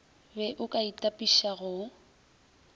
be o ka itapiša go